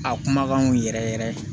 A kumakanw yɛrɛ yɛrɛ